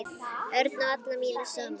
Örn á alla mína samúð.